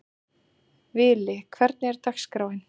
Vili, hvernig er dagskráin?